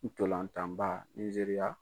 Ntɔlan tan ba Nijeriya .